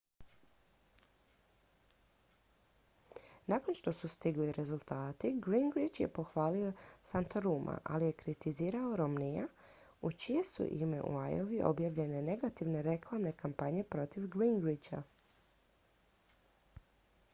nakon što su stigli rezultati gingrich je pohvalio santoruma ali je kritizirao romneyja u čije su ime u iowi objavljene negativne reklamne kampanje protiv gingricha